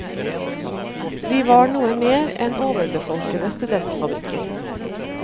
De var noe mer enn overbefolkede studentfabrikker.